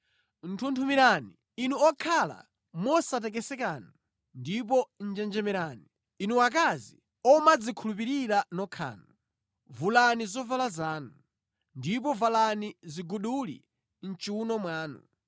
Nthunthumirani inu okhala mosatekesekanu; ndipo njenjemerani, inu akazi omadzikhulupirira nokhanu. Vulani zovala zanu, ndipo valani ziguduli mʼchiwuno mwanu.